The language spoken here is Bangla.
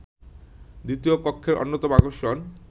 দ্বিতীয় কক্ষের অন্যতম আকর্ষণ